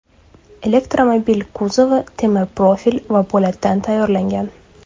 Elektromobil kuzovi temir profil va po‘latdan tayyorlangan.